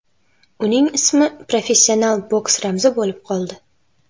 Uning ismi professional boks ramzi bo‘lib qoldi.